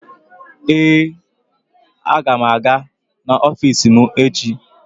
Ee, aga m aga n'ọfiisi m echi.